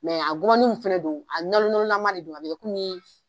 Mɛ a gɔbɔni min fɛnɛ don a nalo nalo la man do a be kɛ komin